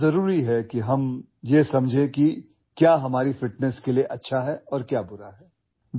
یہ بہت ضروری ہے کہ ہم سمجھیں کہ ہماری فٹنس کے لیے کیا اچھا ہے اور کیا برا ہے